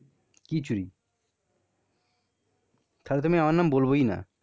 কি চুরি? তাহলে তো আমি আমার নাম বলবোই না.